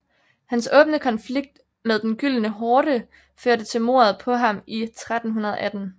Hans åbne konflikt med Den Gyldne Horde førte til mordet på ham i 1318